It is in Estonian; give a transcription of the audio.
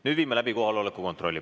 Nüüd viime läbi kohaloleku kontrolli.